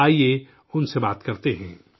آئیے، ان سے بات کرتے ہیں